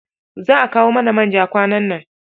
Za a kawo mana man ja kwanan nan.